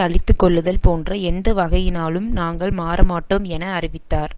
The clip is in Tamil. அழித்து கொள்ளுதல் போன்ற எந்த வகையினாலும் நாங்கள் மாற மாட்டோம் என அறிவித்தார்